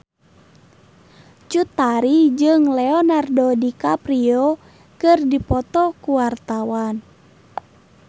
Cut Tari jeung Leonardo DiCaprio keur dipoto ku wartawan